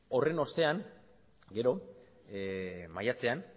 horren ostean gero maiatzean